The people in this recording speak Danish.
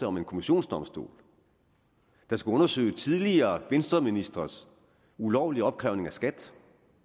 om en kommissionsdomstol der skal undersøge tidligere venstreministres ulovlige opkrævning af skat